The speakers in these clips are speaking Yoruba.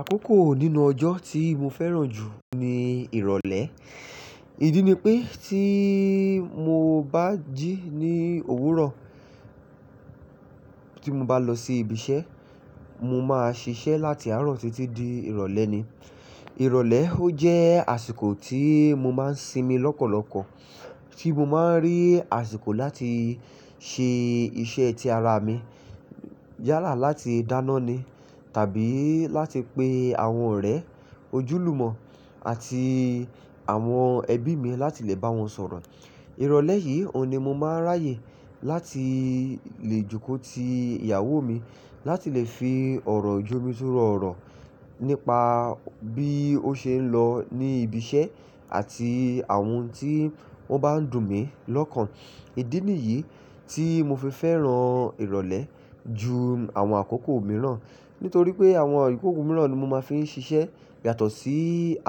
Àkókò nínú ọjọ́ tí mo fẹ́ràn jù ni ìrọ̀lẹ́. Ìdí ni pé tí mo bá jí ní òwúrọ̀ tí mo bá lọ sí ibi iṣẹ́, mo máa ṣiṣẹ́ láti àárọ̀ títí di ìrọ̀lẹ́ ni. Ìrọ̀lẹ́ ó jẹ́ àsìkò tí mo máa ń sinmi lọ́pọ̀lọpọ̀, tí mo máa ń rí àsìkò láti ṣe iṣẹ́ ti ara mi yàlá láti dáná ni tàbí láti pe àwọn ọ̀rẹ́ ojúlùmọ̀ àti àwọn ẹbí mi láti lè bá wọn sọ̀rọ̀. Ìrọ̀lẹ́ yìí oun ni mo máa ń ráyè láti lè jókòó ti ìyàwó mi láti lè fi ọ̀rọ̀ jomi túrọ̀ ọ̀rọ̀ nípa bí ó ṣe ń lọ ní ibi iṣẹ́ àti àwọn ohun tí wọ́n bá ń dùn mí lọ́kàn. Ìdí nìyí tí mo fi fẹ́ràn ìrọ̀lẹ́ ju àwọn àkókò mìíràn. Nítorí pé àwọn àkókò mìíràn ni mo máa ń fi ń ṣiṣẹ́ yàtọ̀ sí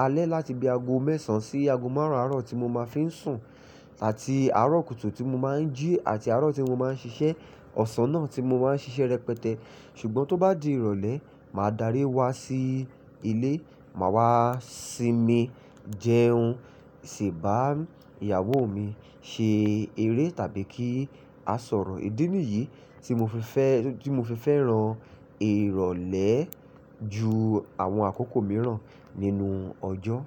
alẹ́ láti bí aago mẹ́sàn án sí aago márùn-ún àárọ̀ tí mo máa ń fi ń sùn àti àárọ̀ kùtù tí mo máa ń jí àti àárọ̀ tí mo máa ń ṣiṣẹ́, ọ̀sán náà tí mo máa ń ṣiṣẹ́ rẹpẹtẹ. Ṣùgbọ́n tó bá di ìrọ̀lẹ́, màá darí wá sí ilé, màá wá sinmi, jẹun, ṣè bá ìyàwó mi ṣe eré tàbí kí a sọ̀rọ̀. Ìdí nìyí tí mo fi fẹ́, tí mo fi fẹ́ràn ìrọ̀lẹ́ ju àwọn àkókò mìíràn nínú ọjọ́.